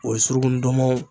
O ye suruku ndɔnmɔn